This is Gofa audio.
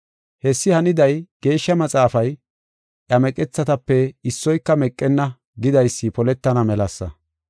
Hessi haniday Geeshsha Maxaafay, “Iya meqethatape issoyka meqenna” gidaysi poletana melasa.